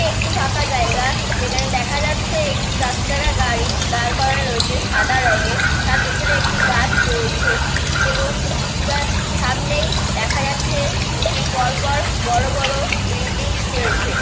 একটি ফাঁকা জায়গায় যেখানে দেখা যাচ্ছে একটি চার চাকা গাড়ি দাঁড় করা রয়েছে সাদা রঙের। তার পেছনে একটি গাছ রয়েছে এবং কিছুটা সামনেই দেখা যাচ্ছে দুটি পরপর বড়ো বড়ো বিল্ডিং রয়েছে।